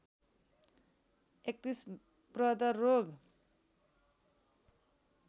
३१ प्रदर रोग